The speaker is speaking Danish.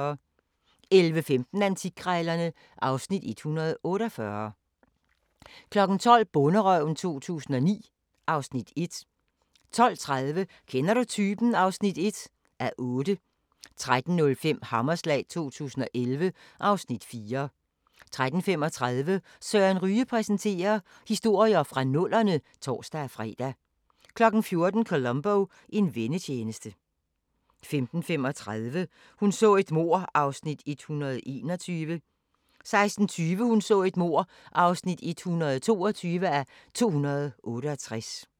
11:15: Antikkrejlerne (Afs. 148) 12:00: Bonderøven 2009 (Afs. 1) 12:30: Kender du typen? (1:8) 13:05: Hammerslag 2011 (Afs. 4) 13:35: Søren Ryge præsenterer: Historier fra nullerne (tor-fre) 14:00: Columbo: En vennetjeneste 15:35: Hun så et mord (121:268) 16:20: Hun så et mord (122:268) 17:05: Jordemoderen III (1:10) 18:00: Antikduellen (9:30)